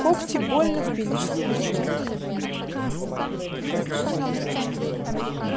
когти больно впились в плечо